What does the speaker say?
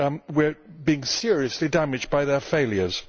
We are being seriously damaged by their failures.